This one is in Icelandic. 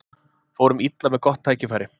Fórum illa með gott tækifæri